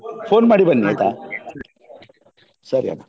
Phone ಮಾಡಿ ಬನ್ನಿ ಆಯ್ತಾ ಸರಿ ಹಾಗಾದ್ರೆ.